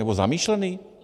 Nebo zamýšlený?